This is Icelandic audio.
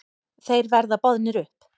Þeir verða boðnir upp.